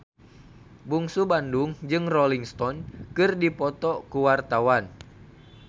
Bungsu Bandung jeung Rolling Stone keur dipoto ku wartawan